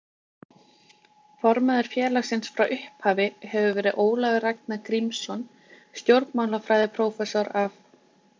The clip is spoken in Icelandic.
Formaður félagsins frá upp- hafi hefur verið Ólafur Ragnar Grímsson stjórnmálafræðiprófessor af